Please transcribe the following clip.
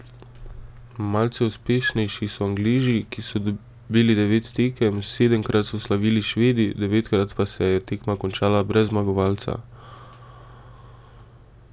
Malce uspešnejši so Angleži, ki so dobili devet tekem, sedemkrat so slavili Švedi, devetkrat pa se je tekma končala brez zmagovalca.